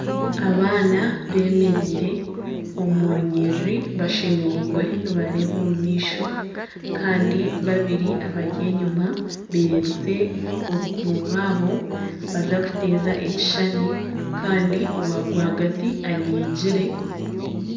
Abaana bemereire omu runyiriri bashemereirwe ni nareeba omumaisho Kandi babiri abari enyima bererize obukumu bwabo nibaza kuteeza ekishushani Kandi owa rwagati anyigyire.